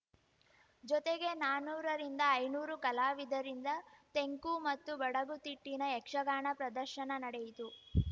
ಜೊತೆಗೆ ನಾನೂರ ರಿಂದ ಐನೂರು ಕಲಾವಿದರಿಂದ ತೆಂಕು ಮತ್ತು ಬಡಗು ತಿಟ್ಟಿನ ಯಕ್ಷಗಾನ ಪ್ರದರ್ಶನ ನಡೆಯಿತು